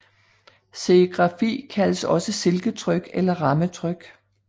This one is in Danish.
Serigrafi kaldes også silketryk eller rammetryk